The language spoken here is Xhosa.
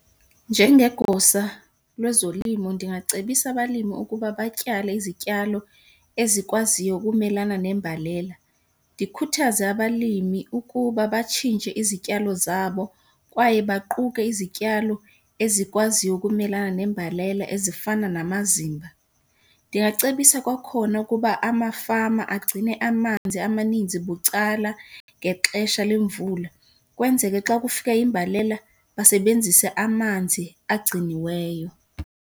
Njengegosa lwezolimo ndingacebisa abalimi ukuba batyale izityalo ezikwaziyo ukumelana nembalela. Ndikhuthaze abalimi ukuba batshintshe izityalo zabo kwaye baquke izityalo ezikwaziyo ukumelana nembalela ezifana namazimba. Ndingacebisa kwakhona ukuba amafama agcine amanzi amaninzi bucala ngexesha lemvula ukwenzeke xa kufika imbalela basebenzise amanzi agciniweyo.